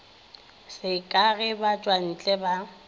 se ka ge batšwantle ba